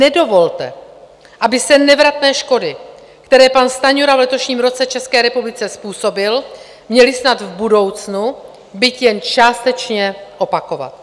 Nedovolte, aby se nevratné škody, které pan Stanjura v letošním roce České republice způsobil, měly snad v budoucnu, byť jen částečně, opakovat.